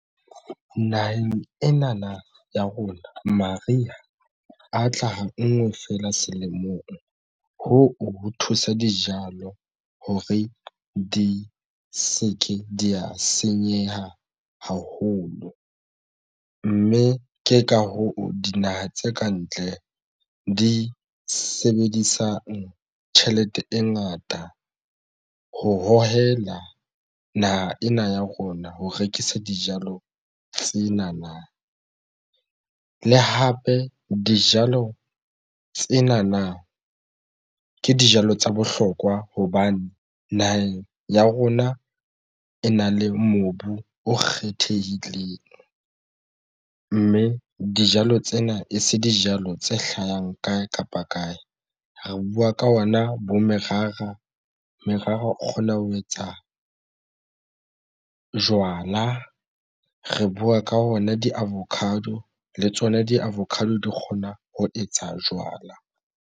Naheng ena ya rona mariha a tla ha ngwe fela selemong hoo ho thusa dijalo hore di se ke di ya senyeha haholo, mme ke ka hoo dinaha tse kantle di sebedisang tjhelete e ngata ho hohela naha ena ya rona. Ho rekisa dijalo tsena na le hape dijalo tsena na ke dijalo tsa bohlokwa hobane naheng ya rona e na le mobu o kgethehileng mme dijalo tsena e se dijalo tse hlahang kae kapa kae. Re buwa ka ona bo merara, merara o kgona ho etsa jwala re buwa ka ona di-avocado le tsona di-avocado di kgona ho etsa jwala.